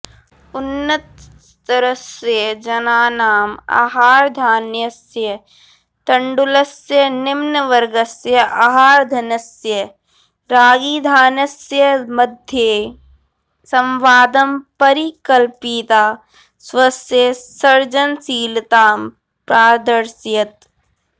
उन्नतस्तरस्य जनानाम् आहारधान्यस्य तण्डुलस्य निम्नवर्गस्य आहारधन्यस्य रागिधान्यस्य मध्ये संवादं परिकल्पयिता स्वस्य सर्जनशीलतां प्रादर्शयत्